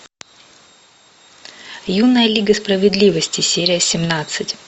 юная лига справедливости серия семнадцать